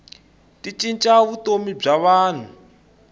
ti cinca vutomi bya vanhu